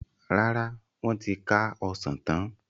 Rárá, wọn ti ká Ọsàn tán.